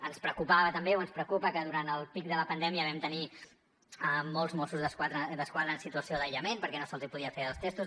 ens preocupava també o ens preocupa que durant el pic de la pandèmia vam tenir molts mossos d’esquadra en situació d’aïllament perquè no se’ls podia fer els testos